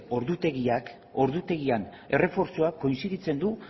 ordutegiak ordutegian errefortzuak koinziditzen du